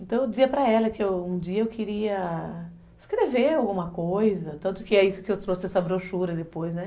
Então eu dizia para ela que um dia eu queria escrever alguma coisa, tanto que é isso que eu trouxe essa brochura depois, né?